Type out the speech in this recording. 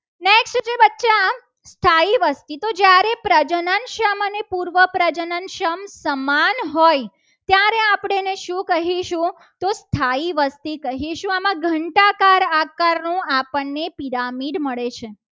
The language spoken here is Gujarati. એ પ્રજનન સમ અને પૂર્વ પ્રજનન સંઘ સમાન હોય ત્યારે આપણે એને શું કહીશું? સ્થાયી વસ્તી કહીશું આમાં ઘંટાકાર આકારનો આપણને પિરામિડ મળે છે.